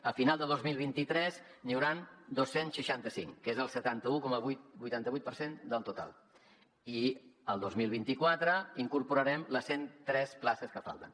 a final de dos mil vint tres n’hi hauran dos cents i seixanta cinc que és el setanta un coma vuitanta vuit per cent del total i el dos mil vint quatre incorporarem les cent tres places que falten